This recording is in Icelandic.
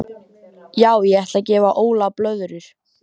Já ég ætla að gefa Óla blöðrur.